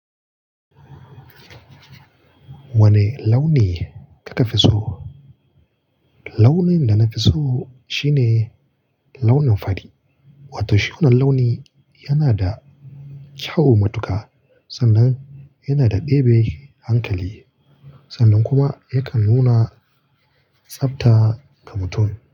Wane launi kafi so? Launin da na fi so shine launin fari, wato shi wannan launi yana da kyau matuka sannan yana da ɗebe hankali, sannan kuma yakan nuna tsabta ga mutum.